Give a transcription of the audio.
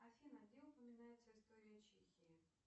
афина где упоминается история чехии